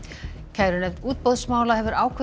kærunefnd útboðsmála hefur ákveðið